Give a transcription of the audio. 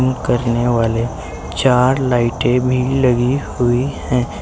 यम करने वाले चार लाइटे भी लगी हुई हैं।